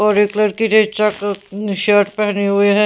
और एक लड़की ने चक शर्ट पहनी हुई है.